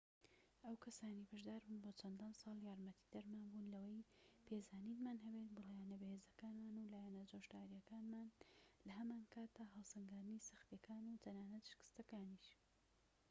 ئەو کەسانەی بەشداربوون بۆ چەندان ساڵ یارمەتیدەرمان بوون لەوەی پێزانینمان هەبێت بۆ لایەنە بەهێزەکانمان و لایەنە جۆشداریەکانمان لە هەمانکاتدا هەڵسەنگاندنی سەختیەکان و تەنانەت شکستەکانیش